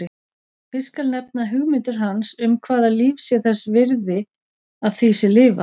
Fyrst skal nefna hugmyndir hans um hvaða líf sé þess virði að því sé lifað.